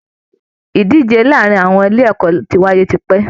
Ìdíje láàrin àwọn ilé ẹ̀kọ́ ti wáyé tipẹ́